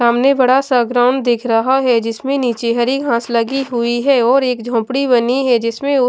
सामने बड़ा सा ग्राउंड दिख रहा है जिसमें नीचे हरी घांस लगी हुई है और एक झोपड़ी बनी है जिसमें उ--